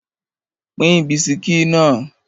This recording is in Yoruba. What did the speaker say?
Pín bisikí náà!